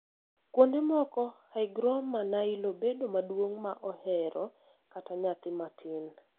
Kuonde moko, hygroma nylo bedo maduong' ma ohero kata nyathi matin.